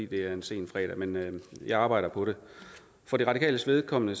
det er en sen fredag men jeg arbejder på det for de radikales vedkommende